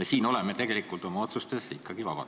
Me siin oleme tegelikult oma otsustes ikkagi vabad.